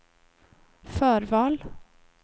förval